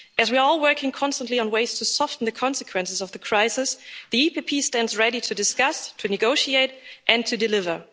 As we are all working constantly on ways to soften the consequences of the crisis, the EPP Group stands ready to discuss, to negotiate and to deliver.